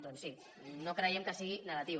doncs sí no creiem que sigui negatiu